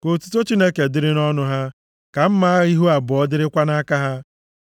Ka otuto Chineke dịrị nʼọnụ ha, ka mma agha ihu abụọ + 149:6 \+xt Hib 4:12; Mkp 1:16\+xt* dịrịkwa nʼaka ha,